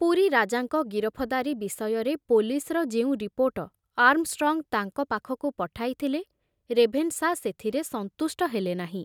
ପୁରୀ ରାଜାଙ୍କ ଗିରଫଦାରୀ ବିଷୟରେ ପୋଲିସର ଯେଉଁ ରିପୋର୍ଟ ଆର୍ମଷ୍ଟ୍ରଙ୍ଗ ତାଙ୍କ ପାଖକୁ ପଠାଇଥିଲେ, ରେଭେନଶା ସେଥିରେ ସନ୍ତୁଷ୍ଟ ହେଲେନାହିଁ।